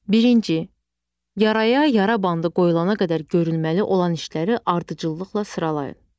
Birinci, yaraya yara bandı qoyulana qədər görülməli olan işləri ardıcıllıqla sıralayın.